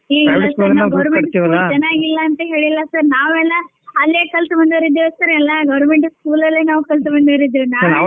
Government school ಚನಾಗಿಲ್ಲ ಅಂತ ಹೇಳಿಲ್ಲ sir ನಾವೆಲ್ಲ ಅಲ್ಲೆ ಕಲ್ತ ಬಂದೋರಿದ್ದೆವ್ sir ಎಲ್ಲಾ government school ಅಲ್ಲೆ ನಾವ್ ಕಲ್ತ ಬಂದೋರಿದ್ದೆವೇ .